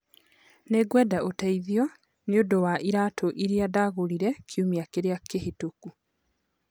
Nĩngwenda ũteithio nĩ ũndũ wa iraatũ iria ndagũrire kiumia kĩrĩa kĩhĩtũku